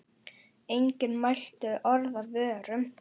Enginn mælti orð af vörum.